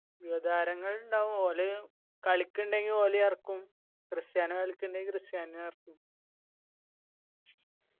യുവതാരങ്ങൾ ഇണ്ടാവു ഓല് കളിക്ക്യിണ്ടെങ്കി ഓലയും എറക്കും ക്രിസ്റ്റിയാനൊ കളിക്ക്യിണ്ടെങ്കി ക്രിസ്റ്യാനോനെനും എറക്കും